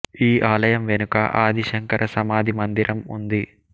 ఈ ఆలయం వెనుక ఆది శంకర సమాధి మందిరం ఉంది